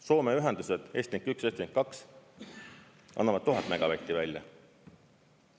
Soome ühendused Estlink 1 ja Estlink 2 annavad 1000 megavatti välja.